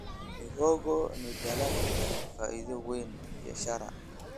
Mihogo ni dalag leh faa'iido weyn kibiashara.